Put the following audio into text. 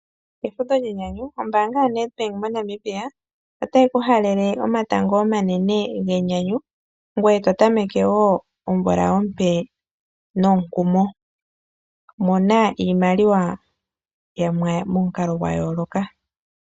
Efudho lyenyanyu. Ombaanga ya NedBank moNamibia otayi ku halele omatango omanene genyanyu ngoye to tameke wo omvula ompe nomukumo. Mona iimaliwa momukalo gwa yooloka.